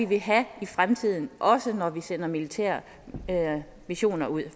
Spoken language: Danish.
vil have i fremtiden også når vi sender militære missioner ud